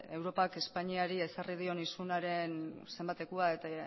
europak espainiari ezarri dion isunaren zenbatekoa eta